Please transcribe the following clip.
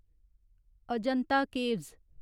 Ajanta caves